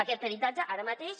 aquest peritatge ara mateix